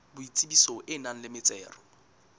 boitsebiso e nang le metsero